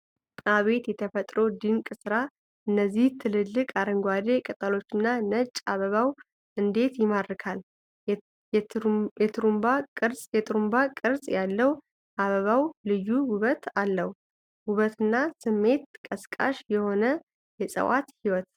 አቤት የተፈጥሮ ድንቅ ሥራ! እነዚህ ትልልቅ አረንጓዴ ቅጠሎችና ነጭ አበባው እንዴት ይማርካል! የትሩንባ ቅርጽ ያለው አበባው ልዩ ውበት አለው። ውብና ስሜት ቀስቃሽ የሆነ የዕፅዋት ሕይወት!